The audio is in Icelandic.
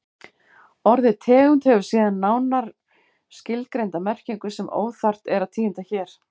Orðið tegund hefur síðan nánar skilgreinda merkingu sem óþarft er að tíunda hér.